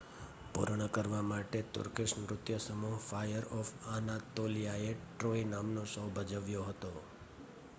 "પૂર્ણ કરવા માટે તુર્કીશ નૃત્ય સમૂહ ફાયર ઓફ અનાતોલિયાએ "ટ્રોય" નામનો શો ભજવ્યો હતો.